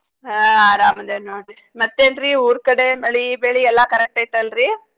ಹಾ ಅರಾಮದೀನ್ ನೋಡ್ರಿ ಮತ್ತೇನ್ ರೀ ಊರ್ ಕಡೆ ಮಳಿ ಬೆಳಿ ಎಲ್ಲಾ correct ಐತಲ್ ರೀ?